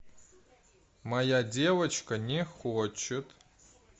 моя девочка не хочет